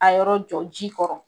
A yɔrɔ jɔ ji kɔrɔ